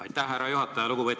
Aitäh, härra juhataja!